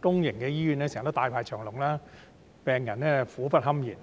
公營醫院經常大排長龍，病人苦不堪言，